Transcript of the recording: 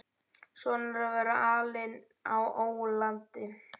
Svona er að vera alinn á ólandi.